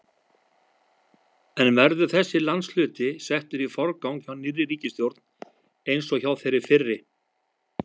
En verður þessi landshluti settur í forgang hjá nýrri ríkisstjórn eins og hjá þeirri fyrri?